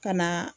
Ka na